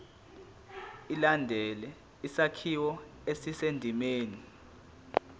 ilandele isakhiwo esisendimeni